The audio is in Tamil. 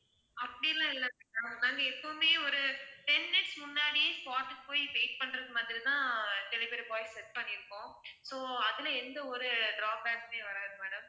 அப்படி எல்லாம் இல்ல ma'am நாங்க எப்போமே ஒரு ten minutes முன்னாடி spot க்கு போய் wait பண்றது மாதிரி தான் delivery boys set பண்ணி இருக்கோம் so அதுல எந்த ஒரு drawback உமே வராது.